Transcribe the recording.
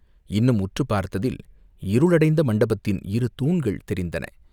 இன்னும் உற்றுப் பார்த்ததில் இருளடைந்த மண்டபத்தின் இரு தூண்கள் தெரிந்தன.